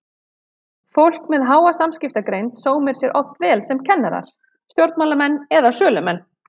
Fólk með háa samskiptagreind sómir sér oft vel sem kennarar, stjórnmálamenn eða sölumenn.